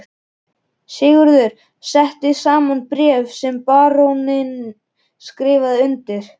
Sigurður setti saman bréf sem baróninn skrifaði undir.